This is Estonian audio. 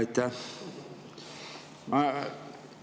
Aitäh!